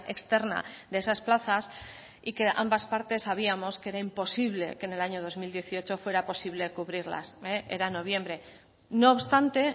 externa de esas plazas y que ambas partes sabíamos que era imposible que en el año dos mil dieciocho fuera posible cubrirlas era noviembre no obstante